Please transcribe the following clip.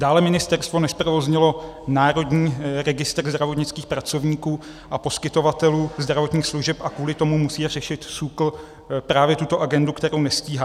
Dále ministerstvo nezprovoznilo Národní registr zdravotnických pracovníků a poskytovatelů zdravotních služeb a kvůli tomu musí řešit SÚKL právě tuto agendu, kterou nestíhá.